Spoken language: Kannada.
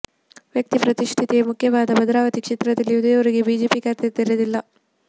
ವ್ಯಕ್ತಿ ಪ್ರತಿಷ್ಠೆಯೇ ಮುಖ್ಯವಾದ ಭದ್ರಾವತಿ ಕ್ಷೇತ್ರದಲ್ಲಿ ಇದುವರೆಗೂ ಬಿಜೆಪಿ ಖಾತೆ ತೆರೆದಿಲ್ಲ